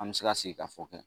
An bɛ se ka sigikafɔ kɛ